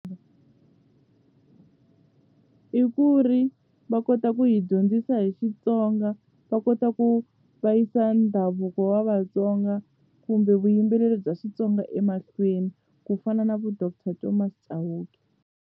I ku ri va kota ku hi dyondzisa hi Xitsonga va kota ku va yisa ndhavuko wa Vatsonga kumbe vuyimbeleri bya Xitsonga emahlweni ku fana na vo Doctor Thomas Chauke.